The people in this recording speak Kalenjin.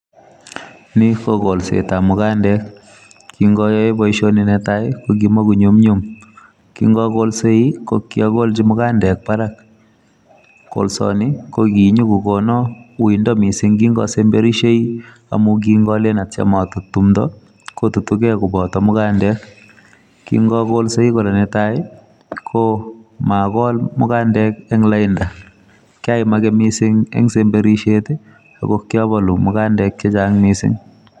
Ni ko golsetab mugandek. Kingayae boisoni netai, kokimago nyumnyum. Kingagolsei, ko kiagolchi mugandek barak. Kolsoni, ko kinyikokona uindo missing kingasemberishei, amu kingalen atiem atut tumdo, kotutukey koboto mugandek. Kingagolsei kora netai, ko magol mugandek eng' lainda. Kiamage missing eng' semberishiet, ako kiabolu mugandek chechang' missing